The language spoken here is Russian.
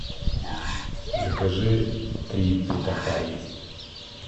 закажи три питахайи